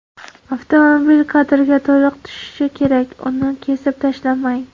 Avtomobil kadrga to‘liq tushishi kerak, uni kesib tashlamang!